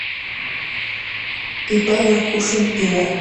ип горкушин ив